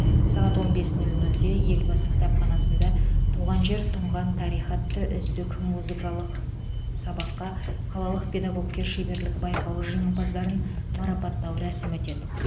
сағат он бес нөл нөлде елбасы кітапханасында туған жер тұнған тарих атты үздік музыкалық сабаққа қалалық педагогтар шеберлігі байқауы жеңімпаздарын марапаттау рәсімі өтеді